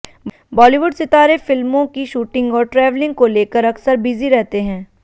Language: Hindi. बॉलीवुड सितारे फिल्मों की शूटिंग और ट्रेवलिंग को लेकर अक्सर बिजी रहते हैं